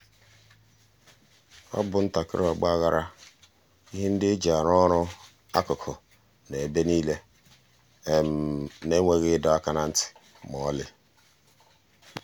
ọ bụ ntakịrị ọgba aghara—ihe ndị eji arụ ọrụ akụkụ nọ ebe niile na enweghị ịdọ aka ná ntị ma ọlị.